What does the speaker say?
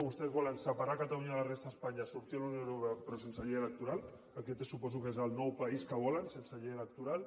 vostès volen separar catalunya de la resta d’espanya sortir de la unió europea però sense llei electoral aquest suposo que és el nou país que volen sense llei electoral